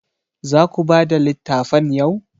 Za ku bada littafan yau?